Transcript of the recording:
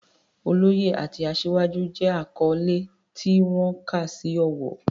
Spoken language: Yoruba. Oloye" àti "Asiwaju" jẹ́ àkọ́lé tí wọ́n kà sí ọ̀wọ̀.